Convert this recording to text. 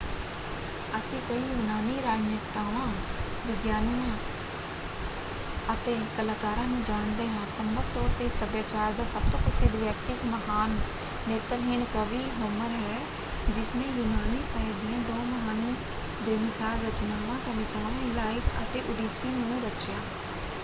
ਅਸੀਂ ਕਈ ਯੂਨਾਨੀ ਰਾਜਨੇਤਾਵਾਂ ਵਿਗਿਆਨੀਆਂ ਅਤੇ ਕਲਾਕਾਰਾਂ ਨੂੰ ਜਾਣਦੇ ਹਾਂ। ਸੰਭਵ ਤੌਰ 'ਤੇ ਇਸ ਸੱਭਿਆਚਾਰ ਦਾ ਸਭ ਤੋਂ ਪ੍ਰਸਿੱਧ ਵਿਅਕਤੀ ਇੱਕ ਮਹਾਨ ਨੇਤਰਹੀਣ ਕਵੀ ਹੋਮਰ ਹੈ ਜਿਸਨੇ ਯੂਨਾਨੀ ਸਾਹਿਤ ਦੀਆਂ ਦੋ ਮਹਾਨ ਬੇਮਿਸਾਲ ਰਚਨਾਵਾਂ: ਕਵਿਤਾਵਾਂ ਇਲਾਇਦ ਅਤੇ ਓਡੀਸੀ ਨੂੰ ਰਚਿਆ।